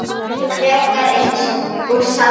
Miklu frekar eins og safn.